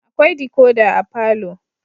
Akwai decoder a palour